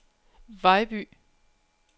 Vejby